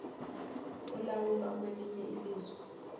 olawulwa kwelinye izwe